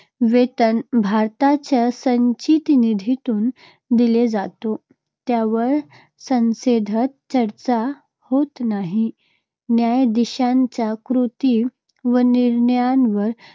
वेतन भारताच्या संचित निधीतून दिले जातो, त्यावर संसदेत चर्चा होत नाही. न्यायाधीशांच्या कृती व निर्णयांवर